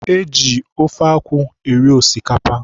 E ji ofe akwụ eri osikapa.